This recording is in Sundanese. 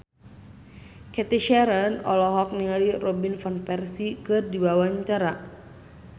Cathy Sharon olohok ningali Robin Van Persie keur diwawancara